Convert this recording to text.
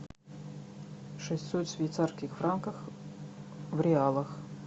шестьсот швейцарских франков в реалах